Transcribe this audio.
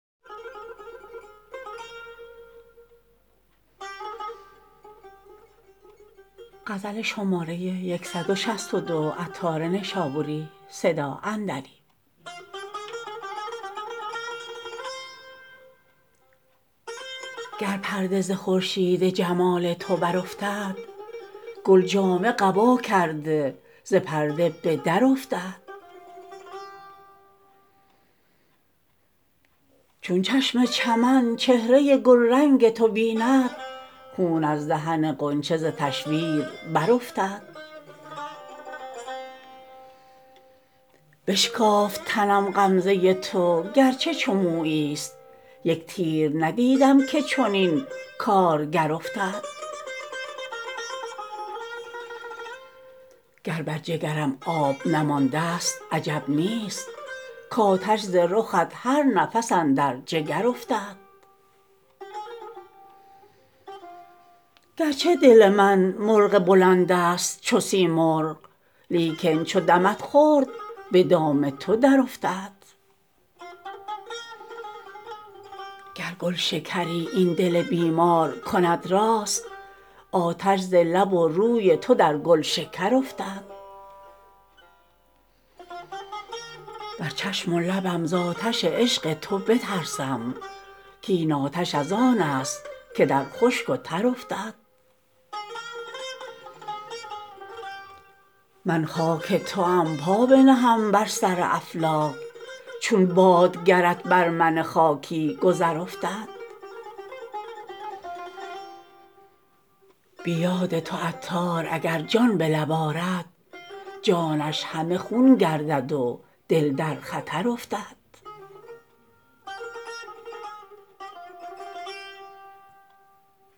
گر پرده ز خورشید جمال تو برافتد گل جامه قبا کرده ز پرده به در افتد چون چشم چمن چهره گلرنگ تو بیند خون از دهن غنچه ز تشویر برافتد بشکافت تنم غمزه تو گرچه چو مویی است یک تیر ندیدم که چنین کارگر افتد گر بر جگرم آب نمانده است عجب نیست کاتش ز رخت هر نفس اندر جگر افتد گرچه دل من مرغ بلند است چو سیمرغ لیکن چو دمت خورد به دام تو درافتد گر گلشکری این دل بیمار کند راست آتش ز لب و روی تو در گلشکر افتد بر چشم و لبم زآتش عشق تو بترسم کین آتش از آن است که در خشک و تر افتد من خاک توام پای نهم بر سر افلاک چون باد گرت بر من خاکی گذر افتد بی یاد تو عطار اگر جان به لب آرد جانش همه خون گردد و دل در خطر افتد